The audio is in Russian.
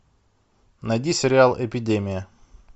найди сериал эпидемия